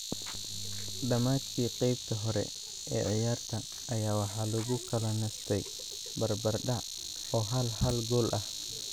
Dhamaadkii qeybta hore ee ciyaarta ayaa waxaa lagu kala nastay barbar dhaac oo hal hal gool ah.